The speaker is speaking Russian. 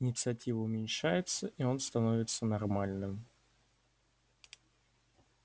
инициатива уменьшается и он становится нормальным